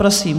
Prosím.